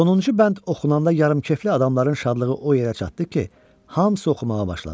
Sonuncu bənd oxunanda yarımkefli adamların şadlığı o yerə çatdı ki, hamısı oxumağa başladı.